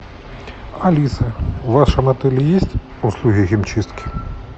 алиса в вашем отеле есть услуги химчистки